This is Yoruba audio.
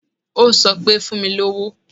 Ó sọ pé, Fún mi lówó.